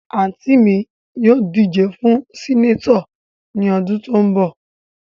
Anti mi ni yoo dije fun Seneto ni odun to n bo.